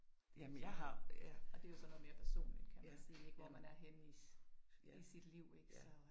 Det så noget og det jo så noget mere personligt kan man sige ik hvor man er henne i i sit liv så